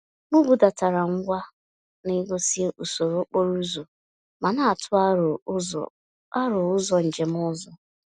M budatara ngwa na-egosi usoro okporo ụzọ ma na-atụ aro ụzọ aro ụzọ njem ọzọ.